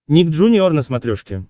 ник джуниор на смотрешке